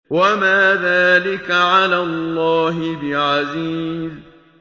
وَمَا ذَٰلِكَ عَلَى اللَّهِ بِعَزِيزٍ